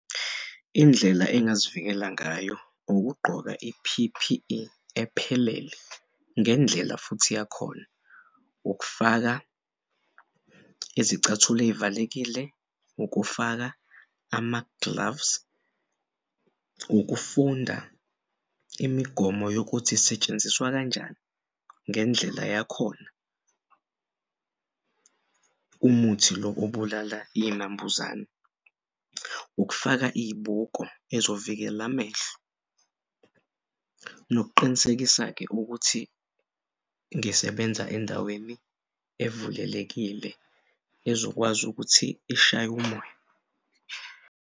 Indlela angazivikela ngayo ukugqoka i-P_P_E ephelele ngendlela futhi yakhona ukufaka izicathul'ezivalekile, ukufaka ama-gloves ukufunda imigomo yokuthi'setshenziswa kanjani ngendlela yakhona. Umuthi lo obulala iy'nambuzane ukufaka iy'buko ezovikela amehlo. Nokuqinisekisa-ke ukuthi ngisebenza endaweni evulelekile ezokwazi ukuthi ishay'umoya.